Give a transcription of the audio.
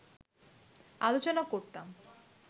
আলোচনা করতাম